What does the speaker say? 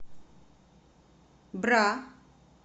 бра